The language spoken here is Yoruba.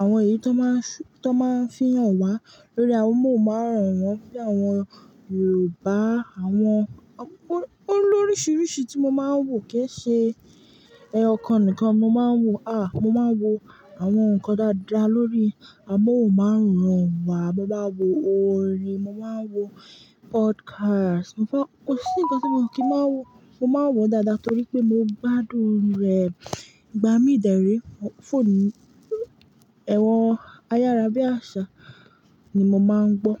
àwọn èyí tó máa ń sù-- tó máa ń fihàn wá lórí amóhùnmáwòrán wọ́n bí i àwọn Yorùbá, àwọn, àwọn olóríṣìíríṣìí tí mo máa ń wò kẹ́ṣẹ̀ẹ́. Ẹ̀yo, kan nìkan mo máa ń wò. À, mo máa ń wo àwọn nǹkan dáadáa lórí amóhùnmáwòrán wá. Mo máa ń wo orin, mo máa ń wo podcast. Mo fọ-- kò sí nǹkan tí mi o kì máa ń wò. Mo máa ń wò ó dáadáa torí pé mo gbádùn rẹ̀. Ìgbà mí dẹ̀rí, f-phonu mi, ẹ̀rọ̀ ayára bí àsá ni mo máa ń gbọ́.